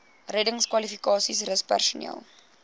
reddingskwalifikasies rus personeel